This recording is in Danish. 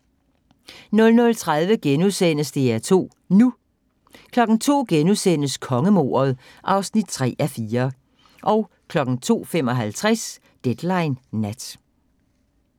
00:30: DR2 NU * 02:00: Kongemordet (3:4)* 02:55: Deadline Nat